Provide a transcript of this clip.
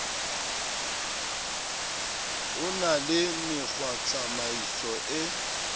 ho na le mekgwatsamaiso e